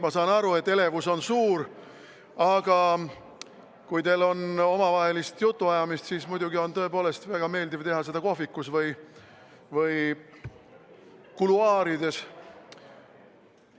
Ma saan aru, et elevus on suur, aga kui teil on omavahelist jutuajamist, siis muidugi on väga meeldiv teha seda kohvikus või kuluaarides.